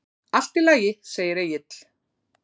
Allt í lagi, segir Egill.